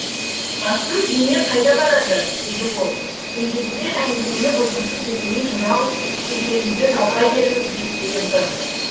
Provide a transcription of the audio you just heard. бассыз дене қайда барады деді ол сөйдеді де әңгімені бұзғысы келмей жырау шежіреңізді жалғай беріңіз деп бұйырды